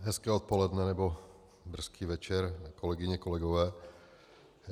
Hezké odpoledne nebo brzký večer, kolegyně, kolegové.